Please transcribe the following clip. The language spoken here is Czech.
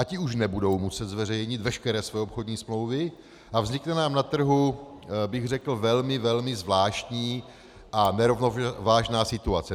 A ty už nebudou muset zveřejnit veškeré své obchodní smlouvy a vznikne nám na trhu, bych řekl, velmi, velmi zvláštní a nerovnovážná situace.